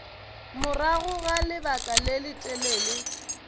morago ga lebaka le letelele